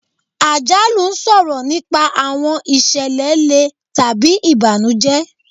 Àjálù ń sọ̀rọ̀ nípa àwọn ìṣẹ̀lẹ̀ le tàbí ìbànújẹ́.